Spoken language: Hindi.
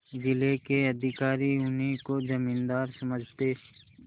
जिले के अधिकारी उन्हीं को जमींदार समझते